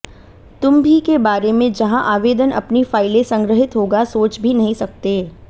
तुम भी के बारे में जहां आवेदन अपनी फ़ाइलें संग्रहीत होगा सोच भी नहीं सकते